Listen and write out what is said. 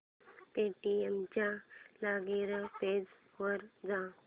Paytm च्या login page वर जा